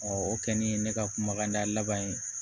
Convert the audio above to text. o kɛlen ne ka kumakanda laban ye